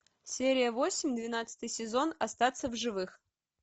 серия восемь двенадцатый сезон остаться в живых